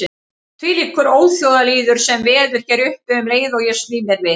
Þvílíkur óþjóðalýður sem veður hér uppi um leið og ég sný mér við.